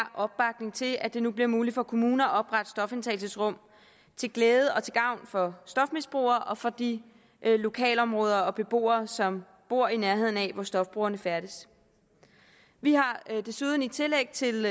opbakning til at det nu bliver muligt for kommuner at oprette stofindtagelsesrum til glæde og til gavn for stofmisbrugere og for de lokalområder og beboere som bor i nærheden af hvor stofbrugerne færdes vi har desuden i et tillæg til